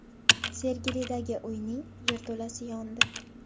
Sergelidagi uyning yerto‘lasi yondi.